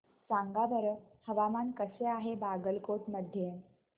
सांगा बरं हवामान कसे आहे बागलकोट मध्ये